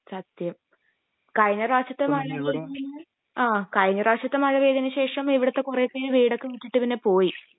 സത്യം. കഴിഞ്ഞ പ്രാവശ്യത്തെ മഴ പെയ്തതിന് ആഹ് കഴിഞ്ഞ പ്രാവശ്യത്തെ മഴ പെയ്തതിന് ശേഷം ഇവിടുത്തെ കുറെ പേര് വീടൊക്കെ വിറ്റിട്ട് പിന്നെ പോയി